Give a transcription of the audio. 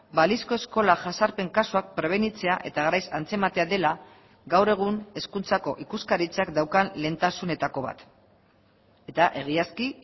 balizko eskola jazarpen kasuak prebenitzea eta garaiz antzematea dela gaur egun hezkuntzako ikuskaritzak daukan lehentasunetako bat eta egiazki